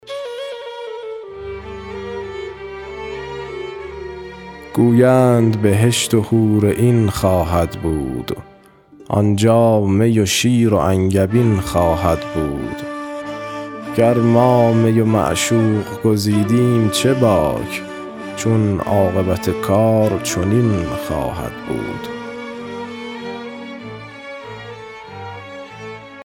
گویند بهشت و حورعین خواهد بود آنجا می و شیر و انگبین خواهد بود گر ما می و معشوق گزیدیم چه باک چون عاقبت کار چنین خواهد بود